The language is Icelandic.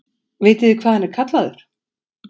Vitiði hvað hann er kallaður?